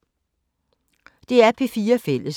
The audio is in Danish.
DR P4 Fælles